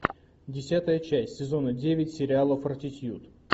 десятая часть сезона девять сериала фортитьюд